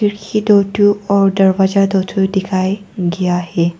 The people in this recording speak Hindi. ये दो दरवाजा दिखाई दिया गया है।